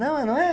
Não é, não é?